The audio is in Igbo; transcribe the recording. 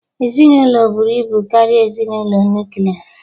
Ezinụlọ buru ibu karịa ezinụlọ nuklia